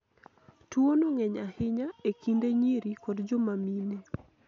tuono ng'eny ahinya e kind nyiri kod joma mine